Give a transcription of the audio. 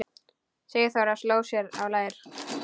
Sigþóra sló sér á lær.